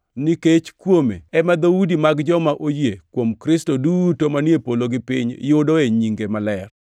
nikech kuome ema dhoudi mag joma oyie kuom Kristo duto manie polo gi piny yudoe nyinge madier.